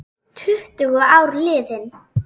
Tuttugu ár liðin.